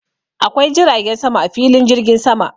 Akwai jiragen sama a filin jirgin sama.